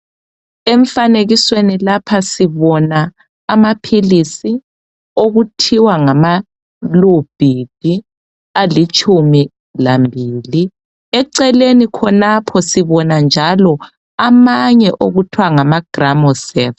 Emfanekisweni lapha sibona amaphilisi okuthiwa ngamalubhidi alitshumi lambili. Eceleni khonapho sibona njalo amanye okuthwa ngamagramosefu.